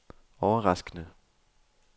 overraskende